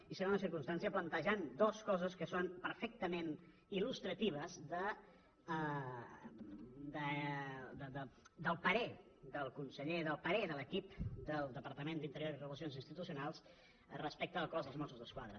i segona circumstància plantejant dues coses que són perfectament il·lustratives del parer del conseller del parer de l’equip del departament d’interior i relacions institucionals respecte al cos de mossos d’esquadra